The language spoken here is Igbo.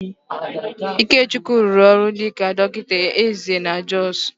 Ikechukwu rụrụ ọrụ dịka dọkịta eze na Jọs